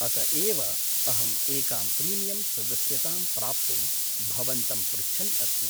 अत एव अहं एकां प्रीमियमम् सदस्यतां प्राप्तुं भवन्तं पृच्छन् अस्मि।